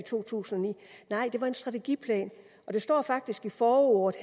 to tusind og ni nej det var en strategiplan og det står faktisk i forordet